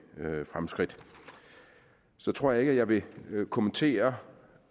fremskridt så tror jeg ikke at jeg vil vil kommentere